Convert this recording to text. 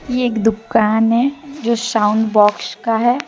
ये एक दुकान है जो साउंड बॉक्स का है।